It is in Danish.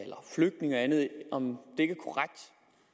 om